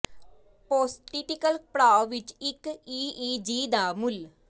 postictal ਪੜਾਅ ਵਿੱਚ ਇੱਕ ਈ ਈ ਜੀ ਦਾ ਮੁੱਲ